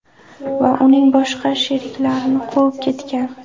va uning boshqa sheriklarini quvib ketgan.